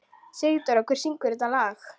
Sigdóra, hver syngur þetta lag?